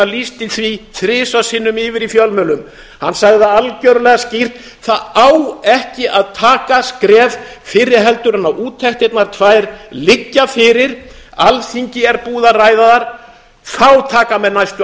lýsti því þrisvar sinnum yfir í fjölmiðlum hann sagði það algjörlega skýrt það á ekki að taka skref fyrr en úttektirnar tvær liggja fyrir alþingi er búið að ræða þær þá taka menn næstu